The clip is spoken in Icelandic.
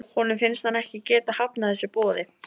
Honum finnst hann ekki geta hafnað þessu boði.